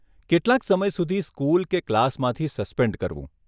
કેટલાંક સમય સુધી સ્કૂલ કે ક્લાસમાંથી સસ્પેન્ડ કરવું.